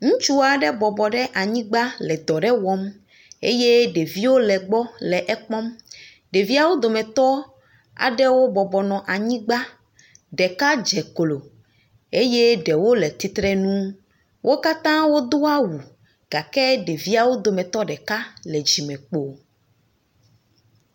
Ŋutsua ɖe bɔbɔ ɖe anyigba le dɔ ɖe wɔm eye ɖeviwo le egbɔ nɔ ekpɔm. Ɖeviawo dometɔ aɖewo bɔbɔ nɔ anyigba, ɖeka dze klo eye ɖewo le tsitrenu. Wo ɖkatã wodo awu gake ɖeviawo dometɔ ɖeka le dzimekpo.